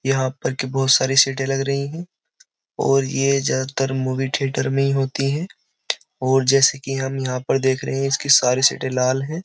यहाँ पर की बहोत सारी सीटें लग रही हैं और ये ज्यादातर मूवी थियेटर में ही होती है और जैसे कि हम यहाँ पर देख रहे इसकी सारी सीटें लाल हैं।